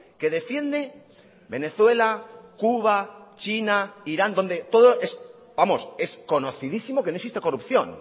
que defiende venezuela cuba china irán donde todo vamos es conocidísimo que no existe corrupción